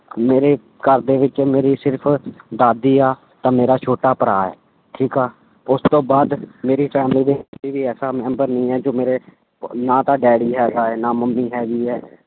ਮੇਰੇ ਘਰਦੇ ਵਿੱਚ ਮੇਰੀ ਸਿਰਫ਼ ਦਾਦੀ ਆ, ਤੇ ਮੇਰਾ ਛੋਟਾ ਭਰਾ ਹੈ, ਠੀਕ ਆ, ਉਸ ਤੋਂ ਬਾਅਦ ਮੇਰੀ family ਐਸਾ ਮੈਂਬਰ ਨਹੀਂ ਹੈ ਜੋ ਮੇਰੇ ਨਾ ਤਾਂ ਡੈਡੀ ਹੈਗਾ ਹੈ ਨਾ ਮੰਮੀ ਹੈਗੀ ਹੈ।